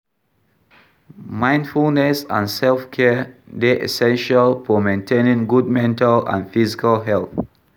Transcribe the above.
Mindfulness and self-care dey essential for maintaining good mental and physical health.